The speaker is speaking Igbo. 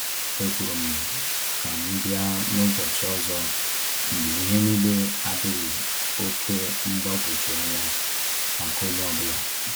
Ekwuru m ka m bịa n’ụbọchị ọzọ mgbe ihe niile adịghị oke mgbagwoju anya maka onye ọ bụla.